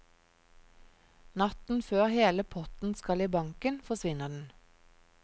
Natten før hele potten skal i banken, forsvinner den.